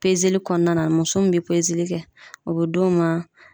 kɔnɔna na, muso mun be kɛ o be d'o ma